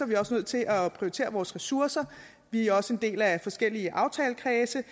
vi også nødt til at prioritere vores ressourcer vi er også en del af forskellige aftalekredse